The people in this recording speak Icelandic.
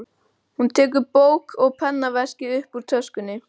Hún tekur bók og pennaveskið upp úr töskunni.